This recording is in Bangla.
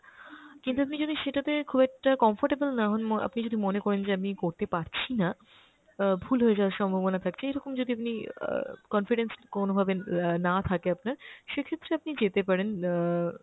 কিন্তু আপনি যদি সেটাতে খুব একটা comfortable না হন উম আপনি যদি মনে করেন যে আমি করতে পারছি না, অ্যাঁ ভুল হয়ে যাওয়ার সম্ভবনা থাকছে, এইরকম যদি আপনি অ্যাঁ confidence কোনোভাবে অ্যাঁ না থাকে আপনার সেক্ষেত্রে আপনি যেতে পারেন অ্যাঁ